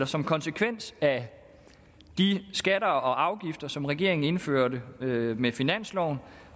som konsekvens af de skatter og afgifter som regeringen indførte med med finansloven